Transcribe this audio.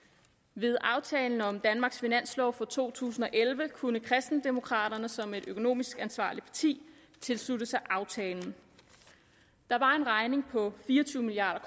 ved aftalen om danmarks finanslov for to tusind og elleve kunne kristendemokraterne som et økonomisk ansvarligt parti tilslutte sig aftalen der var en regning på fire og tyve milliard